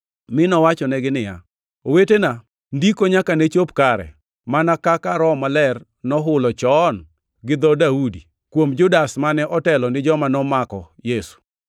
mi nowachonegi niya, “Owetena, Ndiko nyaka ne chop kare, mana kaka Roho Maler nohulo chon gi dho Daudi, kuom Judas mane otelo ni joma nomako Yesu.